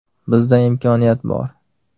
Bizda imkoniyat bor.